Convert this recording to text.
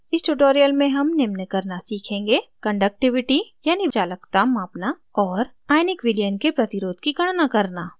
इस tutorial में हम निम्न करना सीखेंगे: